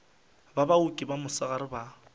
ba baoki ba mosegare ba